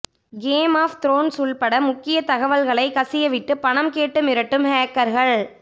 game of Thrones உள்பட முக்கிய தகவல்களை கசியவிட்டு பணம் கேட்டு மிரட்டும் ஹேக்கர்கள்